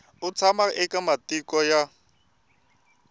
u tshama eka matiko ya